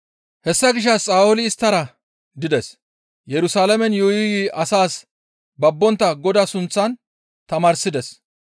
Hessa gishshas Sa7ooli isttara dides; Yerusalaamen yuuyi yuuyi asas babbontta Godaa sunththan tamaarsides.